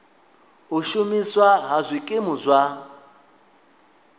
u shumiswa ha zwikimu zwa